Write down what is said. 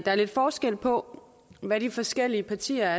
er lidt forskel på hvad de forskellige partier